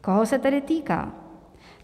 Koho se tedy týká?